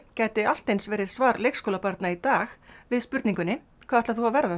gæti allt eins verið svar leikskólabarna í dag við spurningunni hvað ætlar þú að verða